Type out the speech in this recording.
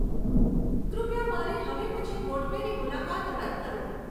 કૃપયા મારી હવે પછી ગોઠવેલી મુલાકાત રદ કરો